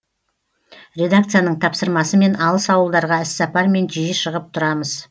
редакцияның тапсырмасымен алыс ауылдарға іссапармен жиі шығып тұрамыз